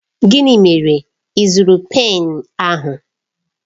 Gịnị mere ị zụrụ pen ahụ?